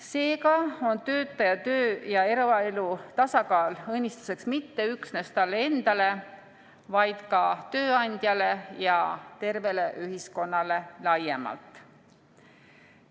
Seega on töötaja töö- ja eraelu tasakaal õnnistuseks mitte üksnes talle endale, vaid ka tööandjale ja tervele ühiskonnale laiemalt.